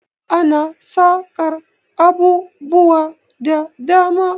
Ana saƙar abubuwa da dama.